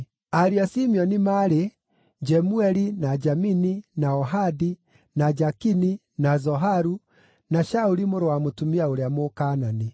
Ariũ a Simeoni maarĩ: Jemueli, na Jamini, na Ohadi, na Jakini, na Zoharu, na Shauli mũrũ wa mũtumia ũrĩa Mũkaanani.